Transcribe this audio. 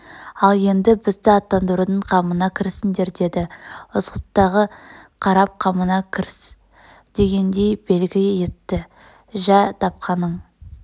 ал енд бізді аттандырудың қамына кірісіңдер деді ызғұттыға қарап қамыңа кірс дегендей белгі етті жә тапқаның